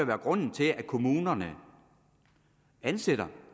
være grunden til at kommunerne ansætter